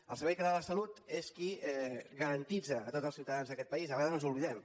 el servei català de la salut és qui garanteix a tots els ciutadans d’aquest país de vegades ens n’oblidem